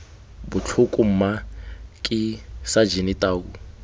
botlhoko mma ke sajene tau